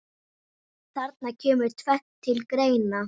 Þarna kemur tvennt til greina.